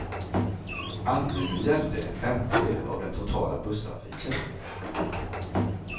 Anbuden gällde en femtedel av den totala busstrafiken.